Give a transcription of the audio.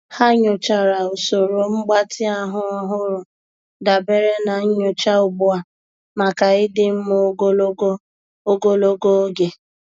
Há nyòchàrà usoro mgbatị ahụ́ ọ́hụ́rụ́ dabere na nyocha ugbu a màkà ịdị mma ogologo ogologo oge.